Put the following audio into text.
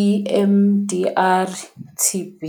i-M_D_R T_B.